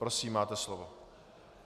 Prosím, máte slovo.